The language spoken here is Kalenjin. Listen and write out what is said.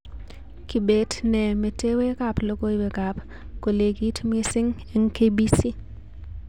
Kibet nee metewekab logoiwekab kolekit mising' eng K.B.C